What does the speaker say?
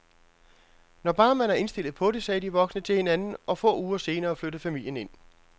Når bare man er indstillet på det, sagde de voksne til hinanden, og få uger senere flyttede familien ind.